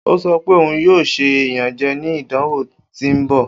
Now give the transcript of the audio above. O sọ pe oun yoo ṣe iyanjẹ ni idanwo ti n bọ.